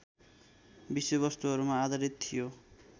विषयवस्तुहरूमा आधारित थियो